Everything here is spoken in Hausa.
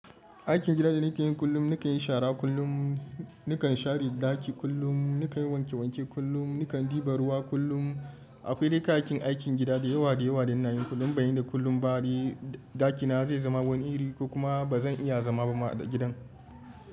Aikin gida da nake yin kullum, nakan yi shara kullum, nakan share ɗaki kullum, nakan yi wanke wanke kullum, nakan ɗiba ruwa kullum. Akwai dai ka'yayyakin aikin gida da yawa da yawa da ina yin kullum. Ban yi da kullum ba dai ɗakina zai zama wani iri ko kuma ba zan iya zama ba ma a gidan.